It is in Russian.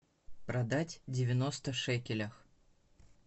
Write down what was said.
продать девяносто шекелях